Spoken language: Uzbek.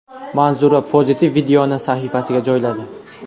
Manzura pozitiv videoni sahifasiga joyladi.